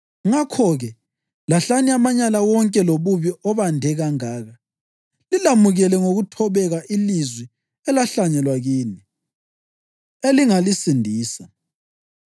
Ngakho-ke, lahlani amanyala wonke lobubi obande kangaka, lilamukele ngokuthobeka ilizwi elahlanyelwa kini, elingalisindisa.